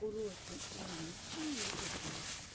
уроки английского языка